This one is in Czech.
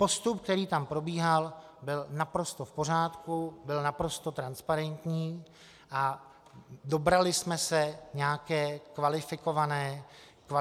Postup, který tam probíhal, byl naprosto v pořádku, byl naprosto transparentní a dobrali jsme se nějaké kvalifikované ceny.